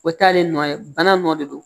O t'ale nɔ ye bana nɔ de don